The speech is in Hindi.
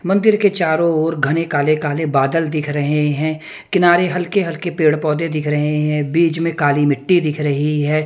मंदिर के चारो ओर घने काले काले बादल दिख रहे है किनारे हलके हलके पेढ पौधे दिख रहे है बिच में काली मिट्ठी दिख रही है.